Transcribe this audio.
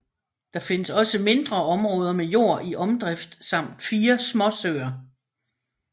Der findes også mindre områder med jord i omdrift samt fire småsøer